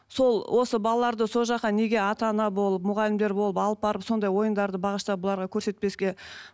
сол осы балаларды сол жаққа неге ата ана болып мұғалімдер болып алып барып сондай ойындарды бағыштап бұларға көрсетпеске